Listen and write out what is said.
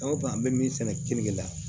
An ko an bɛ min sɛnɛ kiliniki la